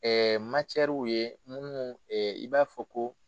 ye minnu i b'a fɔ ko.